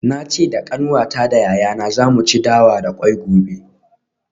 Na ce da kanwata da yayana za mu ci dawa da kwai gobe.